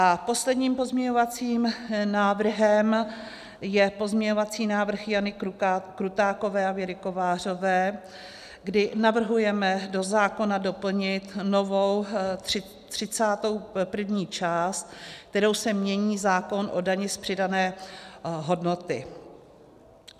A posledním pozměňovacím návrhem je pozměňovací návrh Jany Krutákové a Věry Kovářové, kdy navrhujeme do zákona doplnit novou 31. část, kterou se mění zákon o dani z přidané hodnoty.